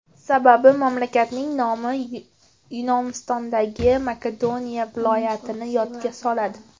Sababi mamlakatning nomi Yunonistondagi Makedoniya viloyatini yodga soladi.